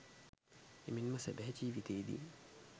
එමෙන්ම සැබෑ ජිවිතයේදී